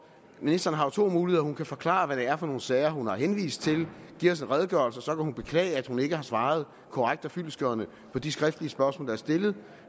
ministeren har to muligheder hun kan forklare hvad det er for nogle sager hun har henvist til give os en redegørelse og så kan hun beklage at hun ikke har svaret korrekt og fyldestgørende på de skriftlige spørgsmål der er stillet